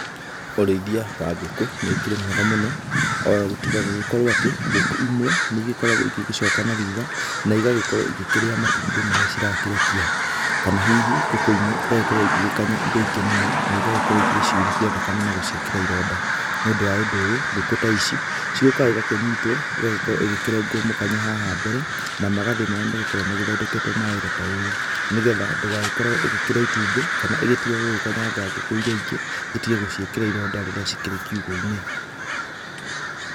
Ũrĩthia wa ngũkũ nĩ ũkĩrĩ mwega mũno o tiga gũgĩkorwo atĩ, ngũkũ imwe nĩ igĩkoragwo igĩgĩcoka na thutha, na igagĩkorwo igĩkĩrĩa matumbĩ marĩa cirakĩrekia. Kana hihi ngũkũ ĩmwe igagĩkorwo igĩgĩkanya iria ingĩ mũno, na igagĩkorwo igĩgĩciurithia thakame na gũciĩkĩra ironda. Nĩ ũndũ wa ũndũ ũyũ, ngũkũ ta ici ciũkaga igakĩnyitwo cĩgagĩkorwo ĩgĩkĩrengwo mũkanye haha mbere, na magathĩ marĩa magĩkoragwo magĩthondeketwo ma wĩra ta ũyũ, nĩgetha ndĩgagĩkorwo ĩgĩkĩrĩa itumbĩ kana ĩgĩtige gũgĩkanyanga ngũkũ iria ingĩ, ĩtige gũciĩkĩra ironda rĩrĩa cikĩrĩ kiugũ-inĩ.